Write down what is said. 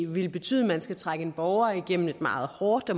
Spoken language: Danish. vil betyde at man skal trække en borger igennem et meget hårdt